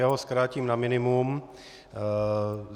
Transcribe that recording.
Já to zkrátím na minimum.